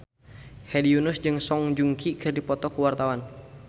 Hedi Yunus jeung Song Joong Ki keur dipoto ku wartawan